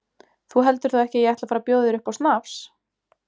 Þú heldur þó ekki að ég ætli að fara að bjóða þér upp á snafs?